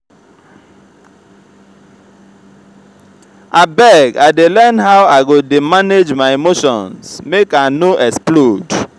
abeg i dey learn how i go dey manage my emotions make i no explode.